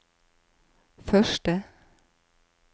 første